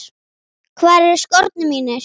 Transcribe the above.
Hvar eru skórnir mínir?